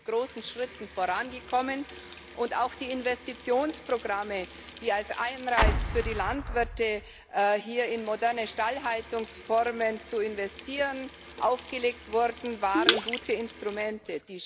Wir sind mit großen Schritten vorangekommen, und auch die Investitionsprogramme, die als Anreiz für die Landwirte, in moderne Stallhaltungsformen zu investieren, aufgelegt wurden, waren gute Instrumente.